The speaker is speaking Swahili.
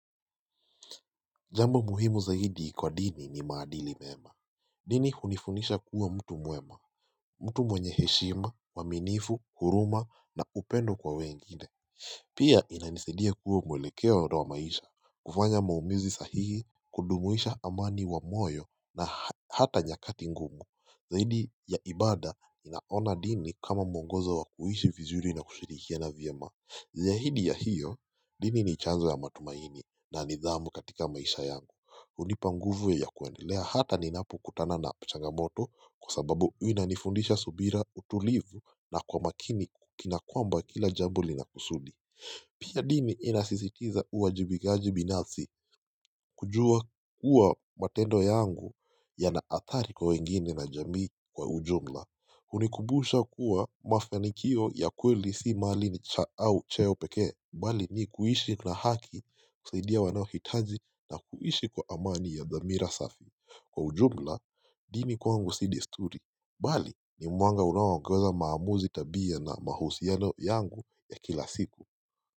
Jambo muhimu zaidi kwa dini ni maadili mema dini hunifundisha kuwa mtu mwema mtu mwenye heshima, mwaminifu, huruma na upendo kwa wengine Pia inanisidia kwa mwelekeo wa maisha kufanya maamuzi sahihi kudumisha amani wa moyo na hata nyakati ngumu Zaidi ya ibada ninaona dini kama mwongoza wa kuhishi vizuri na kushirikiana vyema Zaidi ya hiyo dini ni chanzo ya matumaini na nidhamu katika maisha yangu hunipa nguvu ya kuendelea hata ninapokutana na changamoto kwa sababu inanifundisha subira utulivu na kwa makini kina kwamba kila jambo lina kusudi Pia dini inasisitiza uwajibikaji binafsi kujua kuwa matendo yangu yanaathari kwa wengine na jamii kwa ujumla hunikubusha kuwa mafanikio ya kweli si mali cha au cheo peke bali ni kuishi na haki kusaidia wanaohitaji na kuishi kwa amani ya thamira safi Kwa ujumla, dini kwangu si desturi bali ni mwanga unaowangoza maamuzi tabia na mahusiano yangu ya kila siku.